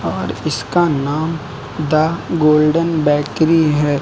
और इसका नाम द गोल्डन बेकरी है।